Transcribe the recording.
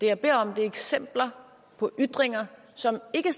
jeg beder om eksempler på ytringer som ikke